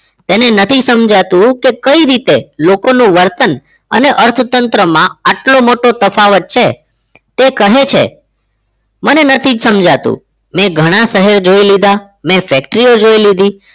તેને નથી સમજાતું કે કઈ રીતે લોકોનું વર્તન અને અર્થતંત્રમાં આટલો મોટો તફાવત છે તે કહે છે મને નથી જ સમજાતું મેં ઘણા શહેર જોઈ લીધા મેં factory ઓ જોઈ લીધી